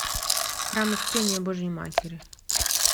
храм успения божией матери